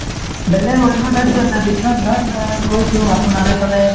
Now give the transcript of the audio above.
বেলেগ অন্য ঠাইত যোৱা নাই বিশ্বনাথ ঘাট অ গৈছোঁ আপোনাৰ সেইফালে